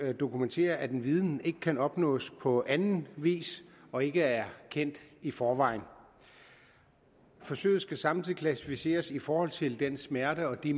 dokumentere at en viden ikke kan opnås på anden vis og ikke er kendt i forvejen forsøget skal samtidig klassificeres i forhold til den smerte og de